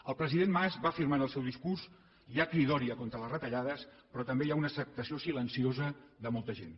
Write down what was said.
el president mas va afirmar en el seu discurs hi ha cridòria contra les retallades però també hi ha una acceptació silenciosa de molta gent